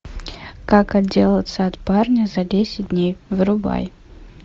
как отделаться от парня за десять дней врубай